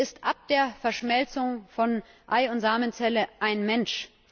Der Mensch ist ab der Verschmelzung von Ei und Samenzelle ein Mensch.